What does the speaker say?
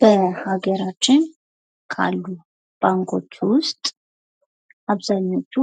በሀገራችን ካሉ ባንኮች ውስጥ አብዛኞቹ